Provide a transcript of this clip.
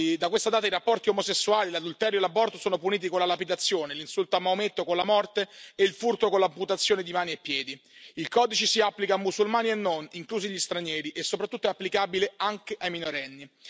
Da questa data i rapporti omosessuali, l'adulterio e l'aborto sono puniti con la lapidazione, gli insulti a Maometto con la morte e il furto con l'amputazione di mani e piedi. Il Codice si applica a musulmani e non, inclusi gli stranieri e soprattutto è applicabile anche ai minorenni.